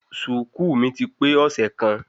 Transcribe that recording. Ṣùùkú mi ti pe ọsẹ kan